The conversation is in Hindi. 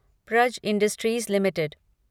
Praj industries limited